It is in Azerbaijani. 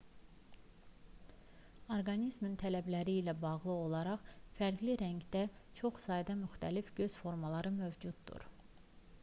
orqanizmin tələbləri ilə bağlı olaraq fərqli rəngdə çox sayda müxtəlif göz formaları mövcuddur